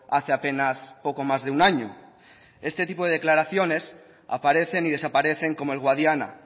hace apenas poco más de un año este tipo de declaraciones aparecen y desaparecen como el guadiana